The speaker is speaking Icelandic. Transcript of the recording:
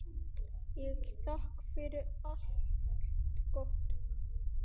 Ég þakka fyrir allt gott.